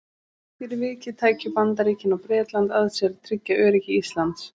fyrir vikið tækju bandaríkin og bretland að sér að tryggja öryggi íslands